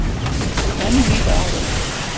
Enn líða árin.